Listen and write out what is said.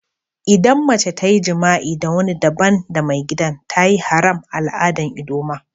Idan mace ta yi jima'i da wani dabban da maigidan, ta yi haram a'aladan ldoma.